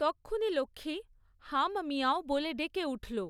তক্ষুনি লক্ষ্মী 'হাম্মিয়াঁও' বলে ডেকে উঠল।